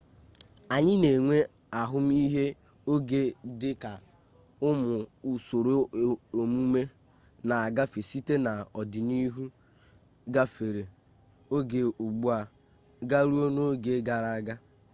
anyị na-enwe ahụmihe oge dị ka ụmụ usoro emume na-agafe site n'ọdịnihu gafere oge ugbu a garuo n'oge gara aga